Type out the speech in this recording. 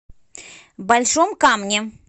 большом камне